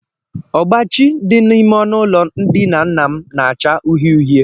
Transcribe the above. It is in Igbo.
Ọgbachi dị n'ime ọnụụlọ ndina nna m na-acha uhie uhie